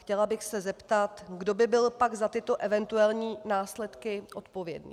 Chtěla bych se zeptat, kdo by byl pak za tyto eventuální následky odpovědný.